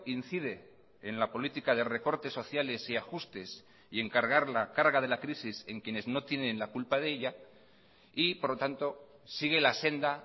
incide en la política de recortes sociales y ajustes y en cargar la carga de la crisis en quienes no tienen la culpa de ella y por lo tanto sigue la senda